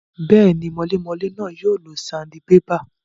Bẹ́ẹ̀ni, mọlémọlé náà yóò lo sandibébà